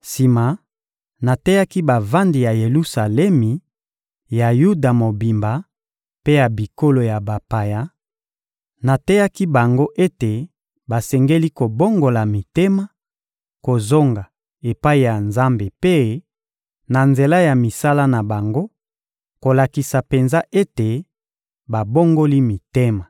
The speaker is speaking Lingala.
sima, nateyaki bavandi ya Yelusalemi, ya Yuda mobimba mpe ya bikolo ya bapaya: nateyaki bango ete basengeli kobongola mitema, kozonga epai ya Nzambe mpe, na nzela ya misala na bango, kolakisa penza ete babongoli mitema.